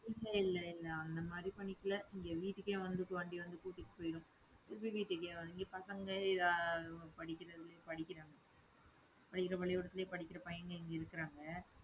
இல்ல இல்ல. அந்த மாதிரி பண்ணிக்கல இங்க வீட்டுக்கே வந்து இப்போ வண்டி வந்து கூட்டிட்டு போயிடும். புது வீட்டுக்கே வந்து பசங்க அஹ் படிக்கிறது படிக்கிறாங்க. படிக்கிற பள்ளிக்கூடத்திலேயே படிக்கிற பையங்க இங்கே இருக்கிறாங்க